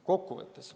Kokkuvõtteks.